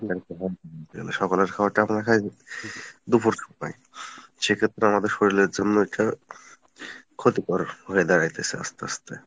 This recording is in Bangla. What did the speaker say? সকালের খাবারটা আমরা খাই দুপুর বেলায় সেক্ষেত্রে আমাদের শরিলের জন্য এটা ক্ষতিকর হয়ে দাড়াইতেছে আস্তে আস্তে